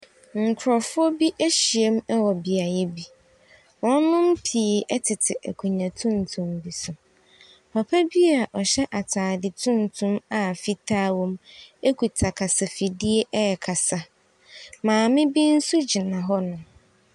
Nkɔfoɔ bi ahyiam wɔ beaeɛ bi. Wɔnnom pii tete akonnwa tuntum bi so. Papa bi a ɔhyɛ ataade tuntum a fitaa wɔ mu ekuta kasa fidie rekasa. Maame bi nso gyina hɔnom.